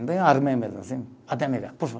armei mesmo assim, bate na minha cara.